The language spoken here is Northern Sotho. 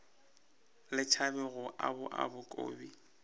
le tšhabe go obaoba kobi